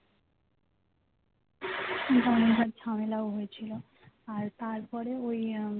বারংবার ঝামেলাও হয়েছিল আর তারপরে ওই আহ